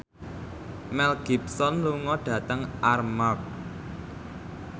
Mel Gibson lunga dhateng Armargh